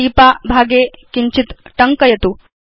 टीपा भागे किञ्चित् टङ्कयतु